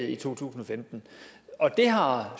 i to tusind og femten det har